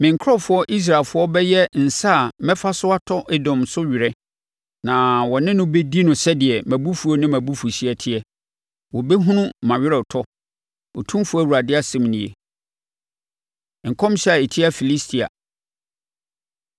Me nkurɔfoɔ Israelfoɔ bɛyɛ nsa a mɛfa so atɔ Edom so wereɛ na wɔ ne no bɛdi no sɛdeɛ mʼabufuo ne mʼabufuhyeɛ teɛ; wɔbɛhunu mʼaweretɔ, Otumfoɔ Awurade asɛm nie.’ ” Nkɔmhyɛ A Ɛtia Filistia